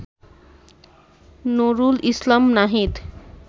Nurul Islam Nahid